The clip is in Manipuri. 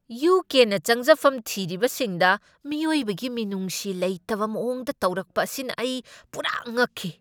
ꯌꯨ. ꯀꯦ. ꯅ ꯆꯪꯖꯐꯝ ꯊꯤꯔꯤꯕꯁꯤꯡꯗ ꯃꯤꯑꯣꯏꯕꯒꯤ ꯃꯤꯅꯨꯡꯁꯤ ꯂꯩꯇꯕ ꯃꯑꯣꯡꯗ ꯇꯧꯔꯛꯄ ꯑꯁꯤꯅ ꯑꯩ ꯄꯨꯔꯥ ꯉꯛꯈꯤ ꯫